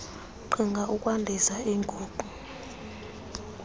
qhinga ukwandisa iinguqu